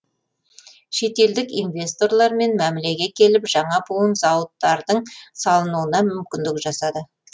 шетелдік инвесторлармен мәмілеге келіп жаңа буын зауыттардың салынуына мүмкіндік жасады